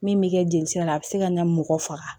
Min bɛ kɛ jelisira la a bɛ se ka na mɔgɔ faga